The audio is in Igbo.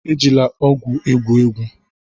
Ejila ọgwụ egwu egwu!